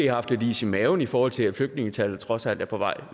haft lidt is i maven i forhold til at flygtningetallet trods alt er på vej